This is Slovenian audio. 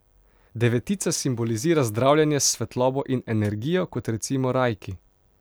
Devetica simbolizira zdravljenje s svetlobo in energijo, kot recimo reiki.